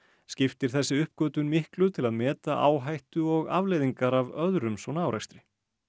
skiptir þessi uppgötvun miklu til að meta áhættu og afleiðingar af öðrum svona árekstri